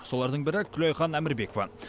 солардың бірі күлайхан әмірбекова